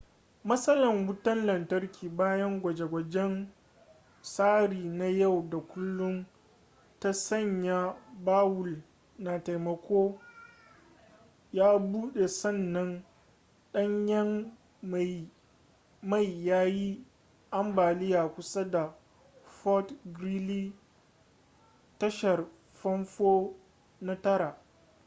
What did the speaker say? matsalan wutan lantarki bayan gwaje-gwajen tsari na yau da kullum ta sanya bawul na taimako ya bude sannan danyen mai ya yi ambaliya kusa da fort greely tashar fanfo na 9